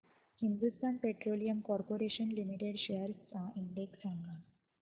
Hindustan petroleum corporation limited shares चा index सांगा